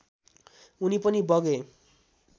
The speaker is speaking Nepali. उनी पनि बगे